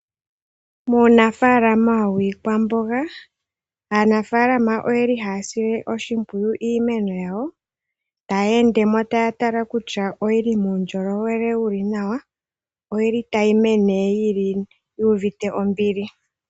Uunafalama wiikwamboga, aanafalama oyeli haya sile oshimpwiyu iimeno yawo taya endemo taya tala kutya oyili uundjolowele wuli nawa oyili tayi mene yu uvite ombili .